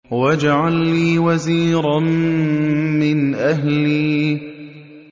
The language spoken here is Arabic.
وَاجْعَل لِّي وَزِيرًا مِّنْ أَهْلِي